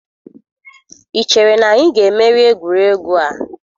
Ị chere na anyị ga-emeri egwuregwu a?